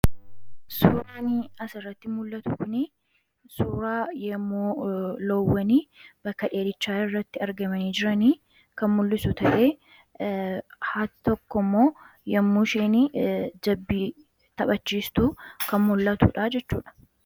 Suuraan asirratti mul'atu kuni suuraa yommuu loowwan bakka dheedichaa irratti argamanii jiran kan mul'isu ta'ee, haati tokko immoo yommuu isheen jabbii taphachiistu kan mul'atudha jechuudha.